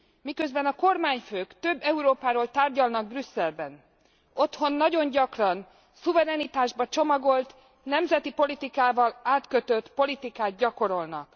Miközben a kormányfők több Európáról tárgyalnak Brüsszelben, otthon nagyon gyakran szuverenitásba csomagolt nemzeti politikával átkötött politikát gyakorolnak.